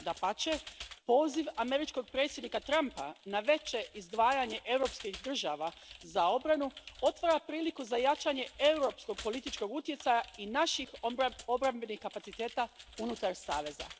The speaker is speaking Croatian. Dapače, poziv američkog predsjednika Trumpa na veće izdvajanje europskih država za obranu otvara priliku za jačanje europskog političkog utjecaja i naših obrambenih kapaciteta unutar saveza.